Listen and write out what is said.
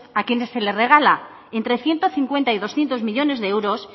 a quienes se le regala entre ciento cincuenta y doscientos millónes de euros